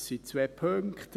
Es sind zwei Punkte.